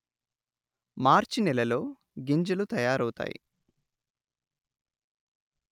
మార్చి నెలలో గింజలు తయారవుతాయి